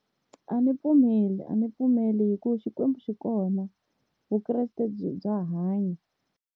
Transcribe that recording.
A ndzi pfumeli a ndzi pfumeli hikuva Xikwembu xi kona Vukreste byi bya hanya.